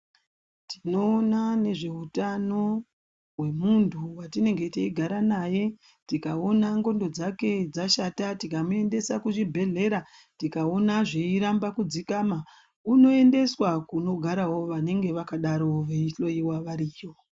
Tinoona nezvehutano wemunhu watinenge teigara naye, tikaona ngondo dzake dzashata tikamuendesa kuzvibhedhlera tikaona zveiramba kudzikama unoendeswa kunenge kweigarawo vanenge vakadarowo veihloiwa variyo.